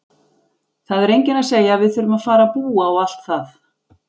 Það er enginn að segja að við þurfum að fara að búa og allt það!